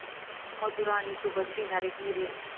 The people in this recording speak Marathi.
मधुरा आणि सुबोध घेणार 'एक निर्णय'